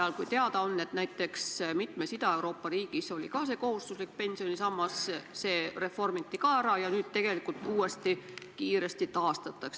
On ju teada, et näiteks mitmes Ida-Euroopa riigis, kus selline kohustuslik pensionisammas varem oli ja see reformi käigus kaotati, on nüüd hakatud seda tegelikult kiiresti taastama.